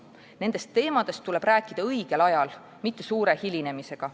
Nendest teemadest tuleb rääkida õigel ajal, mitte suure hilinemisega.